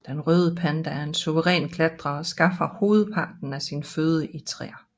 Den røde panda er en suveræn klatrer og skaffer hovedparten af sin føde i træer